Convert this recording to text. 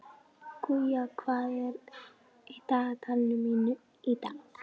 Guja, hvað er í dagatalinu mínu í dag?